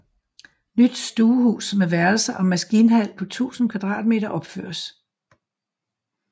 Nyt stuehus med værelser og maskinhal på 1000 m2 opføres